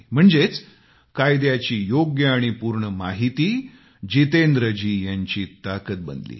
म्हणजेच कायद्याची योग्य आणि पूर्ण माहिती जितेंद्रजी यांची ताकद झाली